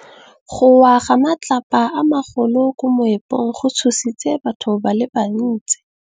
Go wa ga matlapa a magolo ko moepong go tshositse batho ba le bantsi.